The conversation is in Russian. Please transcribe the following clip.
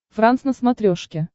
франс на смотрешке